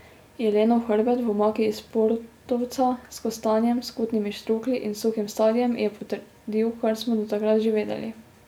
Jelenov hrbet, v omaki iz portovca, s kostanjem, skutnimi štruklji in suhim sadjem, je potrdil, kar smo do takrat že vedeli.